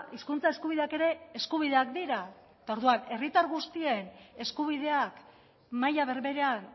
hizkuntza eskubideak ere eskubideak dira eta orduan herritar guztien eskubideak maila berberean